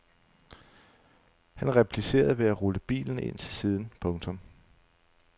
Han replicerede ved at rulle bilen ind til siden. punktum